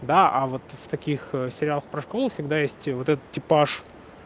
да а вот в таких сериалах про школу всегда есть вот этот типаж